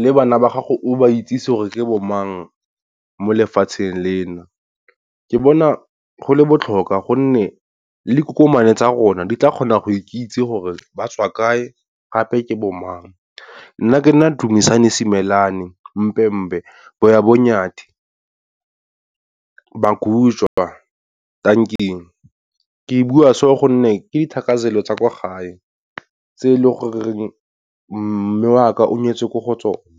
le bana ba gago o ba itsise gore ke bo mang mo lefatsheng lena. Ke bona go le botlhokwa gonne le kukumane tsa rona di tla kgona go ikitse gore ba tswa kae gape ke bo mang. Nna ke nna Dumisane Simelane, Mpembe, Boya bo nyathi Magujwa, tanking. Ke bua so gonne ke dithakazelo tsa kwa gae, tse e leng gore mme o a ka o nyetswe kwa go tsona.